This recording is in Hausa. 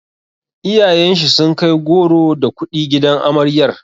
Iyayen shi sun kai goro da kuɗi gidan amaryar.